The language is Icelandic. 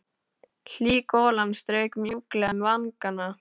Hlý golan strauk mjúklega um vangana.